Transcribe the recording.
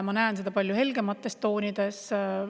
Ma näen seda palju helgemates toonides.